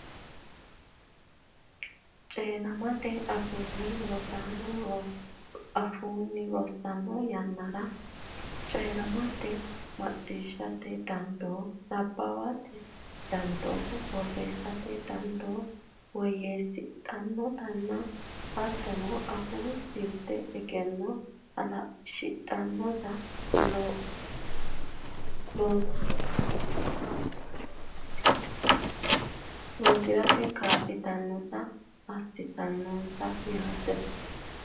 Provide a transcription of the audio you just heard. Coyi’rammete afii rosaano afoo rossanno yan nara coyi’ratenna macciishshate dandoo, nabbawate dandoo, borreessate dandoo woyyeessi’ratenna hattono afuu jirte egenno halashshi’ratenna lossi’rate kaa’lannonsaho, assanno yitanno?